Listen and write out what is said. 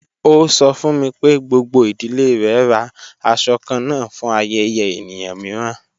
Ọ sọ̀ fún mi pé gbogbo idílé rè rá àṣọ̀ kànán fún ayẹ̀yẹ̀ èníyàn miìràn.